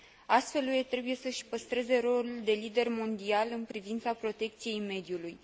Astfel, UE trebuie să își păstreze rolul de lider mondial în privința protecției mediului.